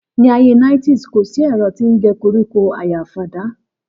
Níàyé niétìsí; kọ sí ẹ̀rọ́ tii ń gẹ kọríkọ àyá fàdá